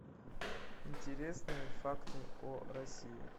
интересные факты о россии